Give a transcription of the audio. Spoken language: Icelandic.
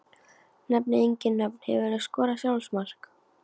Nefni engin nöfn Hefurðu skorað sjálfsmark?